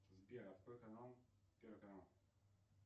сбер открой канал первый канал